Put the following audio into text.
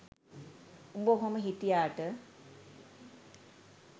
උඹ ඔහොම හිටියාට